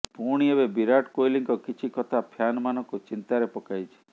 ପୁଣି ଏବେ ବିରାଟ କୋହଲିଙ୍କ କିଛି କଥା ଫ୍ୟାନମାନଙ୍କୁ ଚିନ୍ତାରେ ପକାଇଛି